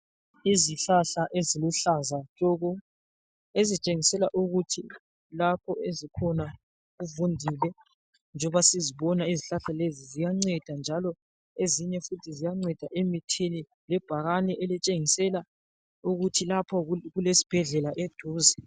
Izihlahla eziluhlaza tshoko, ezitshengisela ukuthi lapho ezikhona kuvundile njoba sizibona. Izihlahla lezi ziyanceda njalo ezinye futhi ziyanceda emithini lebhakane elitshengisela ukuthi lapho kulesibhedlela eduze.